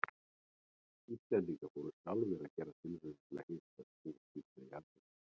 Íslendingar fóru sjálfir að gera tilraunir til að hita upp hús sín með jarðhita.